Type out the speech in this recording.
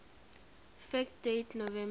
fact date november